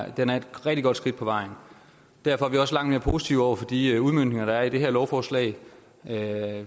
at den er et rigtig godt skridt på vejen derfor er vi også langt mere positive over for de udmøntninger der er i det her lovforslag af